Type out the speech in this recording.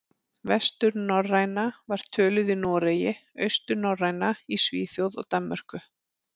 Vesturnorræna var töluð í Noregi, austurnorræna í Svíþjóð og Danmörku.